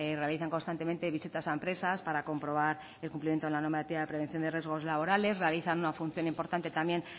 realizan constantemente visitas a empresas para comprobar el cumplimiento de la normativa de prevención de riesgos laborales realizan una función importante también